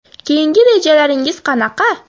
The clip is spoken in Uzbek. Keyingi rejalaringiz qanaqa?